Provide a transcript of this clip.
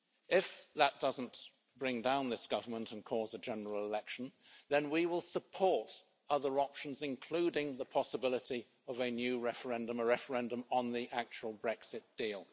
If that doesn't bring down this government and cause a general election, then we will support other options, including the possibility of a new referendum, a referendum on the actual Brexit deal.